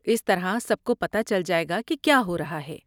اس طرح سب کو پتہ چل جائے گا کہ کیا ہو رہا ہے۔